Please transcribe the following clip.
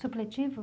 Supletivo?